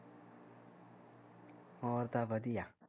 ਹੋਰ ਤਾਂ ਵਧੀਆ